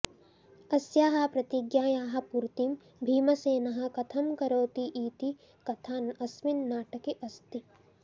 अस्याः प्रतिज्ञायाः पूर्तिं भीमसेनः कथं करोतीति कथा अस्मिन् नाटके अस्ति